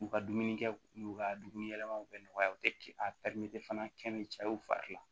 U ka dumuni kɛ n'u ka dumuni yɛlɛmaw bɛ nɔgɔya u tɛ a fana kɛ ni cɛ ye u fari la